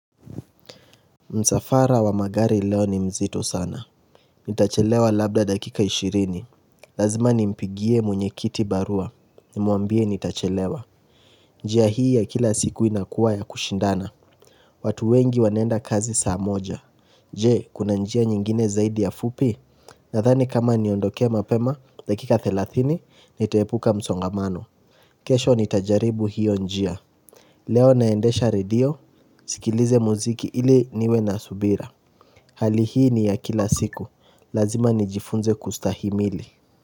Msafara wa magari leo ni mzito sana. Nitachelewa labda dakika ishirini. Lazima nimpigie mwenyekiti barua. Nimwambie nitachelewa. Njia hii ya kila siku inakuwa ya kushindana watu wengi wanaenda kazi saa moja. Je? Kuna njia nyingine zaidi ya fupi? Nadhani kama niondoke mapema, dakika thelathini nitaepuka msongamano. Kesho nitajaribu hiyo njia. Leo ninaendesha redio, nisikilize muziki ili niwe na subira Hali hii ni ya kila siku, lazima nijifunze kustahimili.